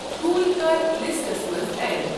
ٹھول کَر لِسٹَس منٛز ایڈ۔